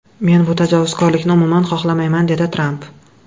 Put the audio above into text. Men bu tajovuzkorlikni umuman xohlamayman”, dedi Tramp.